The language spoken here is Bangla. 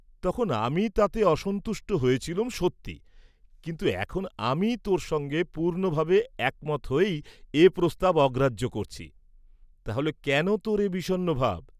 তখন আমি তাতে অসন্তুষ্ট হয়েছিলুম সত্যি, কিন্তু এখন আমি তোর সঙ্গে পূর্ণভাবে একমত হয়েই এ প্রস্তাব অগ্রাহ্য করছি, তাহলে কেন তোর এ বিষণ্ণ ভাব?